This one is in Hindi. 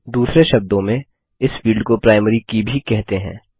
दूसरे शब्दों में इस फील्ड को प्राइमरी की भी कहते हैं